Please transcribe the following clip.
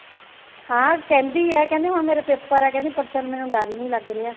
ਹਾਂ ਕਹਿੰਦੀ ਹੈ ਕਹਿੰਦੀ ਹੁਣ ਮੇਰੇ paper ਆ ਕਹਿੰਦੀ ਪਰਸੋ ਨੂੰ ਹੁਣ ਮੈਨੂੰ ਡਰ ਹੀ ਨਹੀਂ ਲੱਗ ਰਿਹਾ